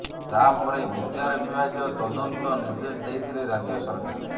ତାପରେ ବିଚାର ବିଭାଗୀୟ ତଦନ୍ତ ନିର୍ଦ୍ଦେଶ ଦେଇଥିଲେ ରାଜ୍ୟ ସରକାର